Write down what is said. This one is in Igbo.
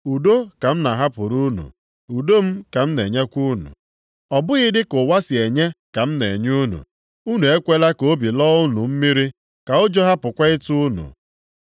Udo ka m na-ahapụrụ unu. Udo m ka m na-enyekwa unu. Ọ bụghị dị ka ụwa si enye ka m na-enye unu. Unu ekwela ka obi lọọ unu mmiri, ka ụjọ hapụkwa ịtụ unu.